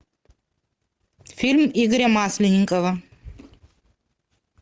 фильм игоря масленникова